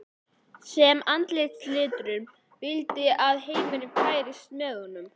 sem í andarslitrunum vildi að heimurinn færist með honum.